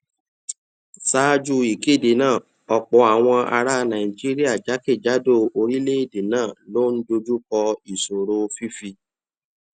ṣáájú ìkéde náà ọpọ àwọn ará nàìjíríà jákèjádò orílẹèdè náà ló ń dojú kọ ìṣòro fífi